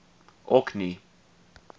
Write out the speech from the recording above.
orkney